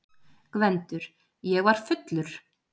GVENDUR: Ég var fullur!